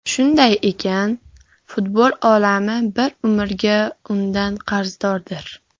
Shunday ekan, futbol olami bir umrga undan qarzdordir.